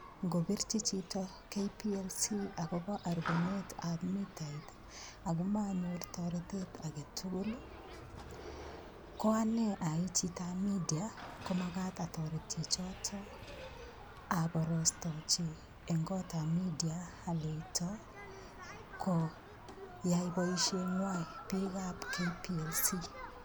Ngopirchi chito KPLC akobo aruponetab mitait akomanyor toretet age tugul ko anee ai chitoab media komakat atoret chichoto aborostochi eng' kotab media aleito koyai boisheng'wai biikab KPLC